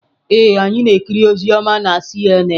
Ee, anyị na-ekiri ozi ọma na CNN.